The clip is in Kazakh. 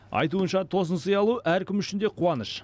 айтуынша тосынсый алу әркім үшін де қуаныш